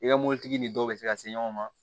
I ka mobilitigi ni dɔw bɛ se ka se ɲɔgɔn ma